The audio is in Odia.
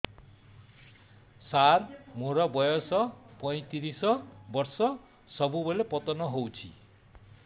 ସାର ମୋର ବୟସ ପୈତିରିଶ ବର୍ଷ ସବୁବେଳେ ପତନ ହେଉଛି